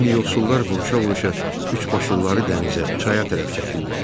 İndi yoxsullar vuruşa-vuruşa üçbaşlıları dənizə, çaya tərəf çəkirlər.